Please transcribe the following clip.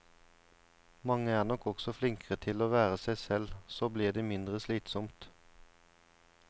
Mange er nok også flinkere til å være seg selv, så blir det mindre slitsomt.